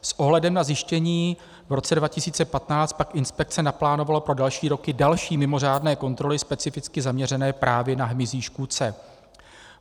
S ohledem na zjištění v roce 2015 pak inspekce naplánovala pro další roky další mimořádné kontroly specificky zaměřené právě na hmyzí škůdce.